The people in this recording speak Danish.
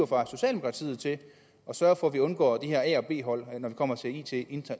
fra socialdemokratiet til at sørge for at vi undgår de her a og b hold når det kommer til it